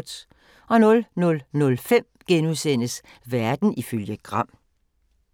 00:05: Verden ifølge Gram *